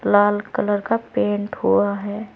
लाल colour का paint हुआ है।